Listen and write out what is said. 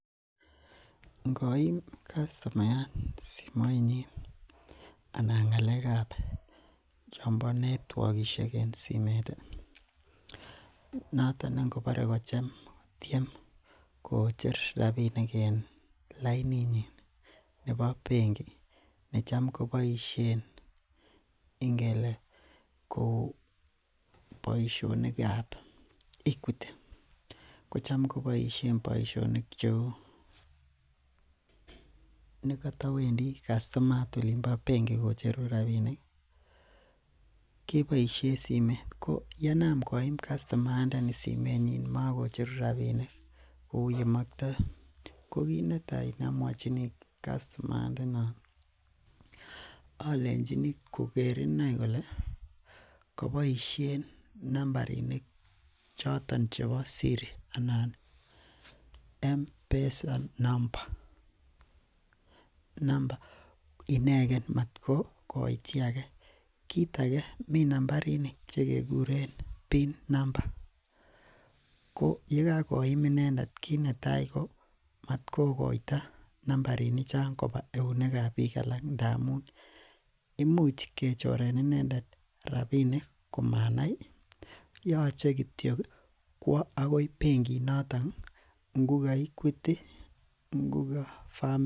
Ingomi kastomayat simoit nyin anan ng'alekab chombo netyokishek ih en simeet ih. Noton ngobare kotien kocher rabinik ih en lainitnyin nebo benkit nechamko boisien ingeleh kouu boisionik kab equity anan kocham koboisien boisionik kouu , negatowendi kastomayat bengi kobokocheru rabinik, ko yeinaam koim kastomayat simeet, komakoi cheru rabinik ih , kouu yemakta, ko kit netai neamwochini kastomayat nenon alenchini koker kole kaboisien nambarinik choton chebo sirit , anan mpesa number ingen matko kokoito chi age. Kit age komi kit nekikuren pin number ko yekakoit inendet kit netai komatkokotai nambarinik chon koba eunekab bik alak ndamuun imuch kechoren inendet rabinik komanai. Yoche kityo kwo akoi bengiit noto ngo equity, ngo family Bank